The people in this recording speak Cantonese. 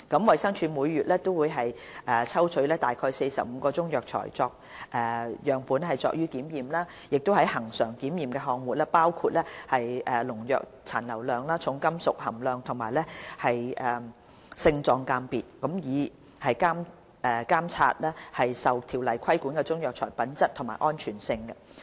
衞生署每月會抽取約45個中藥材樣本作檢驗，而恆常檢驗項目包括農藥殘留量、重金屬含量和性狀鑑別，以監察受《條例》規管的中藥材的品質和安全性。